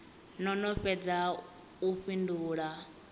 no no fhedza u fhindula